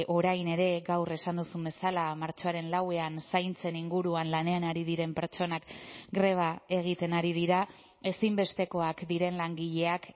orain ere gaur esan duzun bezala martxoaren lauan zaintzen inguruan lanean ari diren pertsonak greba egiten ari dira ezinbestekoak diren langileak